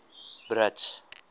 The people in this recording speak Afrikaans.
brits